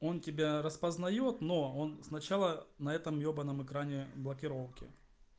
он тебя распознает но он сначала на этом ебаном экране блокировки